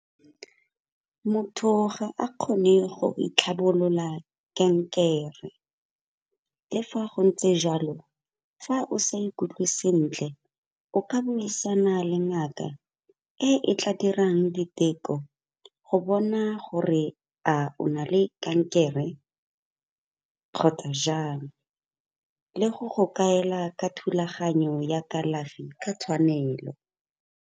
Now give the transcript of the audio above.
Motho ga a kgone go itlhabolola kankere. Le fa go ntse jalo, fa o sa ikutlwe sentle o ka buisana le ngaka, e e tla dirang diteko go bona gore a o na le kankere kgotsa jang. Le go go kaela ka thulaganyo ya kalafi ka tshwanelo.